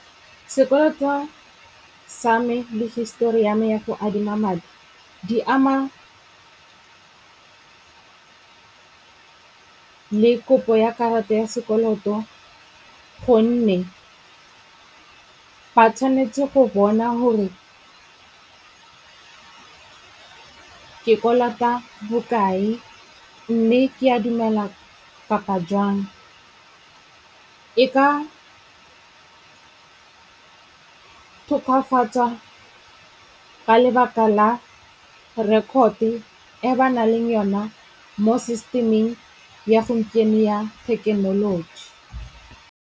Sekoloto wa sa me le hisitori ya me ya go adima madi, di ama le kopo ya karata ya sekoloto gonne ba tshwanetse go bona hore ke kolota bokae mme ke a dumela kapa jwang. E ka tokafatsa ka lebaka la record-e e ba na leng yona mo system-eng ya gompieno ya thekenoloji.